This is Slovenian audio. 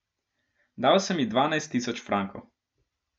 Dal sem ji dvanajst tisoč frankov.